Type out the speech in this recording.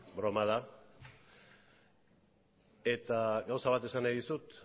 broma da eta gauza bat esan nahi dizut